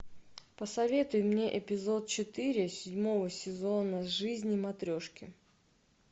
посоветуй мне эпизод четыре седьмого сезона жизни матрешки